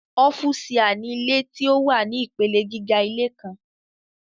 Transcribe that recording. ọ́fùsià ni ilé tí ó wà ní ìpele gíga ilé kan.